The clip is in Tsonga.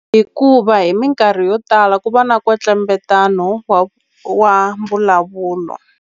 Hikuva hi minkarhi yo tala ku va na nkwetlembetano wa wa mbulavulo.